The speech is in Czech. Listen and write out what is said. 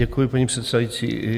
Děkuji, paní předsedající.